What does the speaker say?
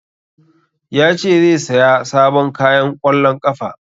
Ya ce zai saya sabon kayan ƙwallon ƙafa